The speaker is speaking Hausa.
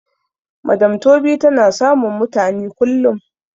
madam tobi tana samun mutani kullum